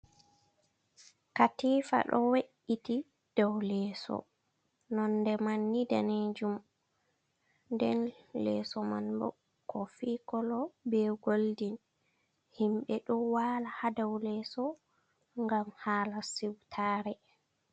Katiifa ɗo we’iti dow leeso, nonnde man ni daneejum, nden leeso man bo kofi kolo, be goldin. Himɓe ɗo waala haa dow leeso ngam haala siwtaare.